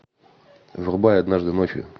врубай однажды ночью